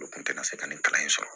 U kun tɛna se ka ne kalan in sɔrɔ